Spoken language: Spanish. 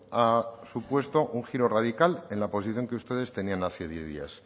ha supuesto un giro radical en la posición que ustedes tenían hace diez días